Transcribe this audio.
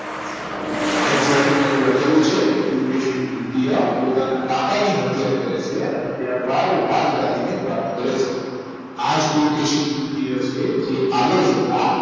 NCRT માં એવું લખેલું છે કે કુલ કેસિત દ્વિતીય પોતાના કાકાની હત્યા કરે છે અને ત્યારબાદ રાજધાનીને પ્રાપ્ત કરે છે રાજગાવ રાજગાદી આજ પુલકેશીય દ્વિતીય છે જે આગળ જતા